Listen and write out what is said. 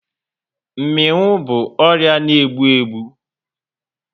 Mminwu bụ ọrịa na egbu egbu